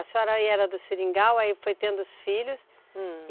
A senhora aí era do Seringal, aí foi tendo os filhos, hum...